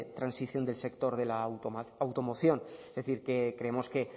transición del sector de la automoción es decir que creemos que